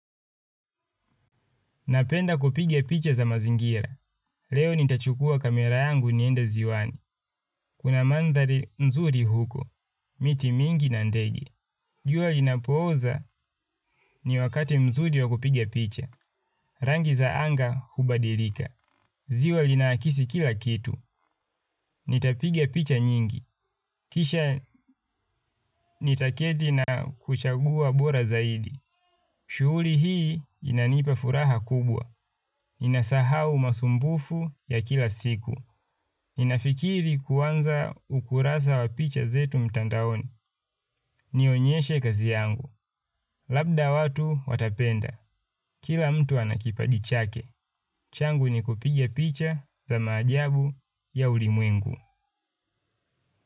Napenda kupiga picha za mazingira. Leo nitachukua kamera yangu nienda ziwani. Kuna mandhari nzuri huko, miti mingi na ndege. Jua linapooza ni wakati mzuri wakupiga picha rangi za anga hubadilika. Ziwa linaakisi kila kitu. Nitapigia picha nyingi. Kisha nitaketi na kuchagua bora zaidi. Shughuli hii inanipa furaha kubwa. Ninasahau masumbufu ya kila siku. Ninafikiri kuanza ukurasa wa picha zetu mtandaoni. Nionyeshe kazi yangu. Labda watu watapenda. Kila mtu anakipaji chake. Changu ni kupigia picha za maajabu ya ulimwengu.